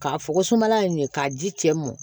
K'a fɔ ko sumala ɲɛ k'a ji cɛ mɔn